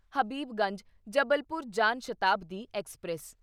Habibganj Jabalpur Jan Shatabdi express